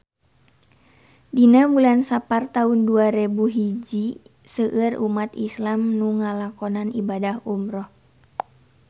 Dina bulan Sapar taun dua rebu hiji seueur umat islam nu ngalakonan ibadah umrah